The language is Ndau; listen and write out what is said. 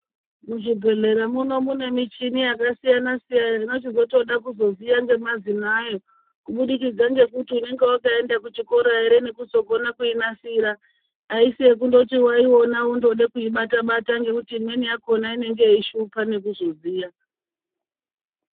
Muzvibhedhlera muno mune michini yakasiyana siyana inochizoda kuziya nemazina ayo kubudikidza ngekuti unenge wakaenda kuchikora ere nekuzogona kuinasira aisi yekungoti waiona woda kungoibata Bata ngekuti imweni yakona inenge yeishupa nekuzoziya.